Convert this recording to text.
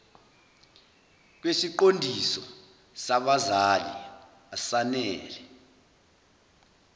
kwesiqondiso sabazali asanele